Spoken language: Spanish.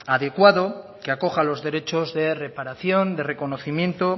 adecuado que acoja los derechos de reparación de reconocimiento